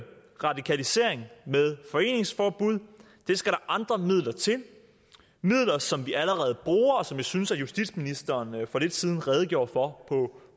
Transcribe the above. radikalisering med foreningsforbud det skal der andre midler til midler som vi allerede bruger og som jeg synes at justitsministeren for lidt siden redegjorde for